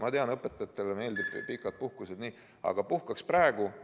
Ma tean, et õpetajatele meeldivad pikad puhkused, aga puhkaks praegu.